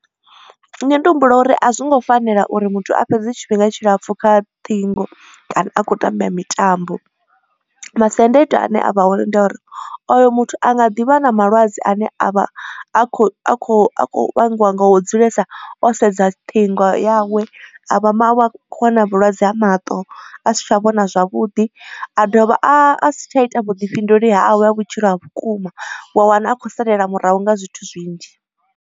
Nṋe ndi humbula uri a zwongo fanela uri muthu a fhedze tshifhinga tshilapfhu kha ṱhingo kana a khou tamba mitambo. Masiandaitwa a ne a vha hone ndi a uri oyo muthu anga ḓivha na malwadze ane a vha a khou a kho a khou vhangiwa nga u dzulesa o sedza ṱhingo yawe a vha ma akho wana vhulwadze ha maṱo a si tsha vhona zwavhuḓi. A dovha a si tsha ita vhuḓifhinduleli hawe ha vhutshilo ha vhukuma wa wana a khou salela murahu nga zwithu zwinzhi.